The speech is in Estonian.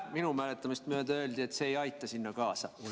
Minu mäletamist mööda öeldi, et see ei aita sellele kaasa.